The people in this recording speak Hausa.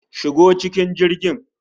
Shigo cikin jirgin!